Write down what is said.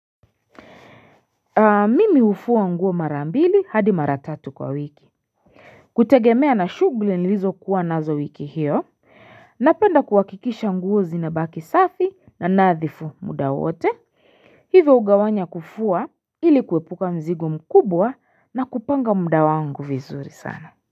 Mimi hufua nguo mara mbili hadi mara tatu kwa wiki kutegemea na shughli nilizokuwa nazo wiki hiyo Napenda kuhakikisha nguo zinabaki safi na nadhifu muda wote hivyo hugawanya kufua ili kuepuka mzigo mkubwa na kupanga muda wangu vizuri sana.